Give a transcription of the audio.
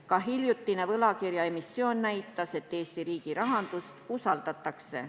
Ka hiljutine võlakirjaemissioon näitas, et Eesti riigirahandust usaldatakse.